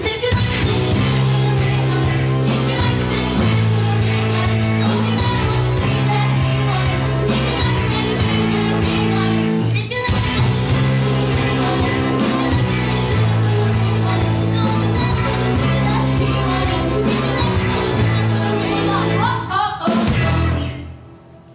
var